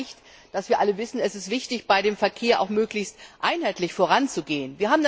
Das zeigt, dass wir alle wissen Es ist wichtig, bei dem Thema Verkehr auch möglichst einheitlich voranzugehen.